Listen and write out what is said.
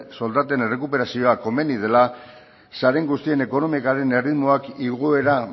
soldaten errekuperazioa komeni dela guztien ekonomikaren erritmoak igoera